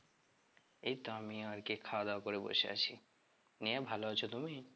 এই তো আমিও আর কি খাওয়া দাওয়া করে বসে আছি, নিয়ে ভালো আছো তুমি?